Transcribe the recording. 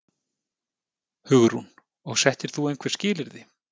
Hugrún: Og settir þú einhver skilyrði?